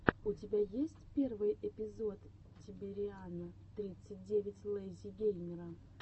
у тебя есть первый эпизод тибериана тридцать девять лэйзи геймера